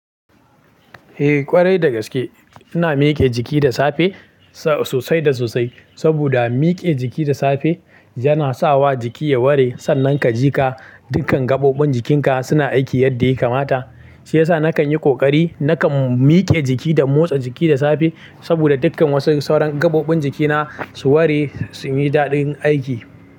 Eh ƙwarai da gaske. Ina mike jiki da safe, sosai da sosai. Saboda mike jiki da safe, yana sawa jiki ya ware, sannan ka jiƙa dukkan gaɓoɓin jikinka suna aiki yadda ya kamata. Shi yasa nakan yi ƙoƙari nakan mike jiki da motsa jiki da safe. Saboda dukkan wasu sauran gaɓoɓin jikina su ware, suyi daɗin aiki.